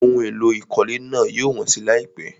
Ohun èlò ìkọ́lé náà yóò wọ́n si láìpẹ́.